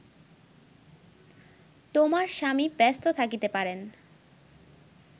তোমার স্বামী ব্যস্ত থাকিতে পারেন